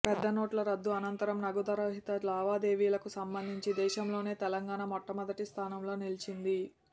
పెద్దనోట్ల రద్దు అనంతరం నగదు రహిత లావాదేవీలకు సంబంధించి దేశంలోనే తెలంగాణ మొట్టమొదటి స్థానంలో నిలిచింది